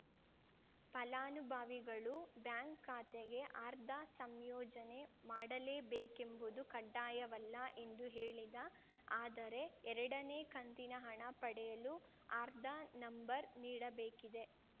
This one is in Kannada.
ಫಲಾನುಭಾವಿಗಳು ಬ್ಯಾಂಕ್‌ ಖಾತೆಗೆ ಆರ್ಧಾ ಸಂಯೋಜನೆ ಮಾಡಲೇ ಬೇಕೆಂಬುದು ಕಡ್ಡಾಯವಲ್ಲ ಎಂದು ಹೇಳಿದ ಆದರೆ ಎರಡನೇ ಕಂತಿನ ಹಣ ಪಡೆಯಲು ಆರ್ಧಾ ನಂಬರ್‌ ನೀಡಬೇಕಿದೆ